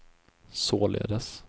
således